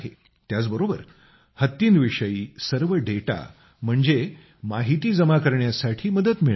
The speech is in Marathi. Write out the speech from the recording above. त्याचबरोबर हत्तींविषयी सर्व डेटा म्हणजे माहिती जमा करण्यासाठी मदत मिळत आहे